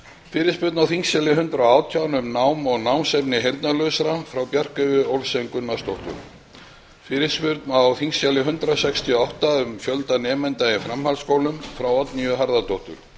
fyrirspurn á þingskjali hundrað og átján um nám og námsefni heyrnarlausra barna frá bjarkeyju olsen gunnarsdóttur fyrirspurn á þingskjali hundrað sextíu og átta um fjölda nemenda í framhaldsskólum frá oddnýju g harðardóttur